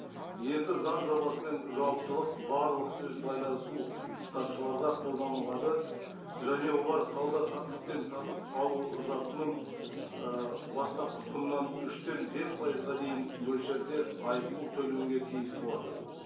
енді заң жобасымен жауаптылық барлық сөз байласу қатысушыларға қолданылады және олар сауда саттық пен сатып алу затының ы бастапқы құнынан үштен бес пайызға дейін мөлшерде айыппұл төлеуге тиіс болады